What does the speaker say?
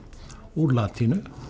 úr latínu